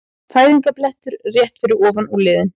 Fæðingarblettur rétt fyrir ofan úlnliðinn.